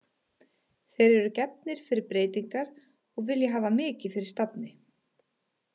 Þeir eru gefnir fyrir breytingar og vilja hafa mikið fyrir stafni.